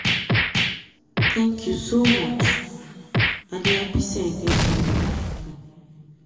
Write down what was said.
um thank you um so much i dey happy say i get um someone like you.